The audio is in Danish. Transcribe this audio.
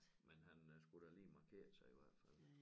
Men han øh skulle da lige markere sig i hvert fald